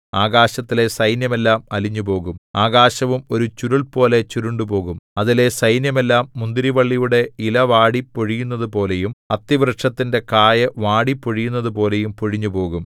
ആകാശത്തിലെ സൈന്യമെല്ലാം അലിഞ്ഞുപോകും ആകാശവും ഒരു ചുരുൾപോലെ ചുരുണ്ടുപോകും അതിലെ സൈന്യമെല്ലാം മുന്തിരിവള്ളിയുടെ ഇല വാടി പൊഴിയുന്നതുപോലെയും അത്തിവൃക്ഷത്തിന്റെ കായ് വാടി പൊഴിയുന്നതുപോലെയും പൊഴിഞ്ഞുപോകും